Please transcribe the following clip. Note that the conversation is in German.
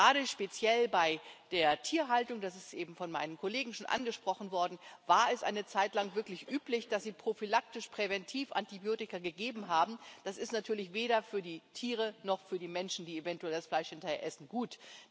Gerade speziell bei der Tierhaltung, das ist eben von meinen Kollegen schon angesprochen worden, war es eine Zeit lang wirklich üblich, dass man prophylaktisch präventiv Antibiotika gegeben hat. Das ist natürlich weder für die Tiere noch für die Menschen, die eventuell das Fleisch hinterher essen, gut.